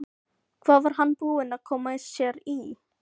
Hvað var hann búinn að koma sér í?